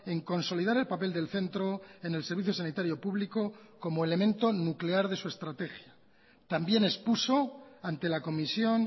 en consolidar el papel del centro en el servicio sanitario público como elemento nuclear de su estrategia también expuso ante la comisión